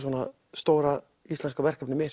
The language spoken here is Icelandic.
stóra íslenska verkefnið